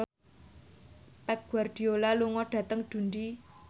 Pep Guardiola lunga dhateng Dundee